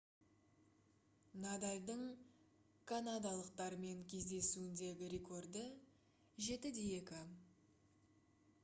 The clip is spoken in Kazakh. надальдың канадалықтармен кездесуіндегі рекорды - 7-2